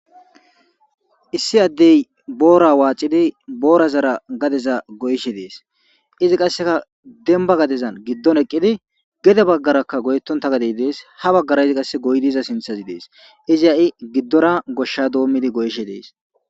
Issi ade boora waxidi boorazara gadeza goyishe de'es izi kaseka demba gadezan gido eqidi gede bagaraka goyetonta gade Des ha bagara yidi kase goyidi yida sinthazi izi ha'i gidora gosha doomidi goyishe de'es.